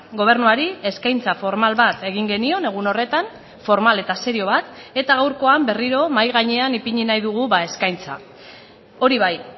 gobernuari eskaintza formal bat egin genion egun horretan formal eta serio bat eta gaurkoan berriro mahai gainean ipini nahi dugu eskaintza hori bai